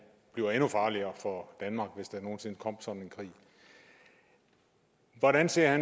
bliver endnu farligere for danmark hvis der nogen sinde kom sådan en krig hvordan ser